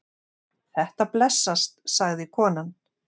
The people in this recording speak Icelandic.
Þetta blessast, sagði konan.